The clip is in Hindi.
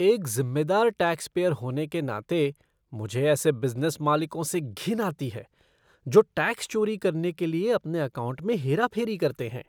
एक ज़िम्मेदार टैक्सपेयर होने के नाते, मुझे ऐसे बिज़नेस मालिकों से घिन आती है जो टैक्स चोरी करने के लिए अपने अकाउंट में हेरा फेरी करते हैं।